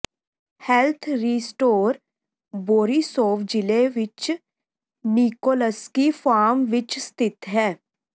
health restore Borisov ਜ਼ਿਲ੍ਹੇ ਵਿਚ Nikolsky farm ਵਿਚ ਸਥਿਤ ਹੈ